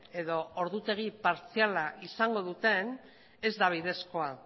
edo ordutegi partziala izango duten ez da bidezkoa